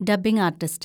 dubbing artist